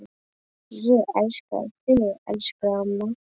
Ég elska þig, elsku amma.